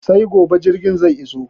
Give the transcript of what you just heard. Sai gobe jirgin zai iso